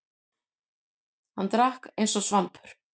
Hann drakk eins og svampur.